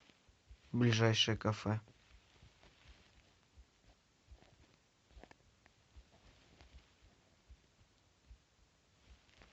ближайшее кафе